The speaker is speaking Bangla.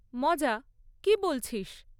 মজা? কী বলছিস!